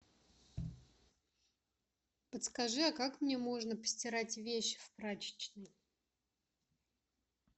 подскажи а как мне можно постирать вещи в прачечной